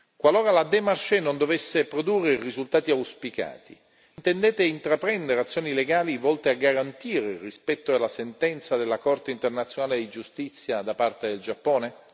Qualora la démarche non dovesse produrre i risultati auspicati, intendete intraprendere azioni legali volte a garantire il rispetto della sentenza della Corte internazionale di giustizia da parte del Giappone?